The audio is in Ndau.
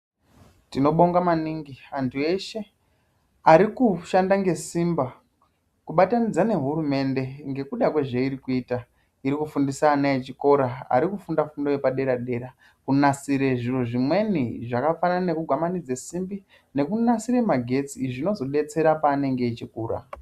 Tinobonga maningi antu eshe ari kushanda ngesimba kubatanidza nehurumende ngekuda kwezveiri kuita. Iri kufundisa ana echikora ari kufunda fundo yepadera-dera, kunasire zviro zvimweni zvakafanana nekugwamanidze simba, nekunasire magetsi. Izvi zvinozodetsera paanenge echikura.